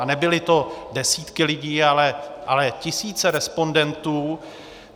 A nebyly to desítky lidí, ale tisíce respondentů.